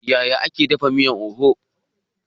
Yaya ake dafa miyan oha?